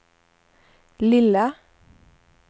lilla